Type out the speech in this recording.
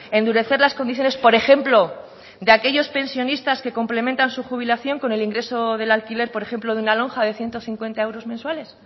endurecer las condiciones por ejemplo de aquellos pensionistas que complementan su jubilación con el ingreso del alquiler por ejemplo de una lonja de ciento cincuenta euros mensuales